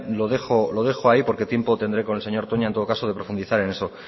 lo dejo ahí porque tiempo tendré con el señor toña en todo caso de profundizar en eso